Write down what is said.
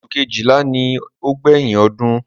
Oṣù kejìlá ni ó gbẹ̀yìn ọdún.